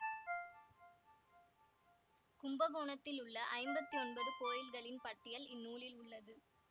கும்பகோணத்திலுள்ள ஐம்பத்தி ஒன்பது கோயில்களின் பட்டியல் இந்நூலில் உள்ளது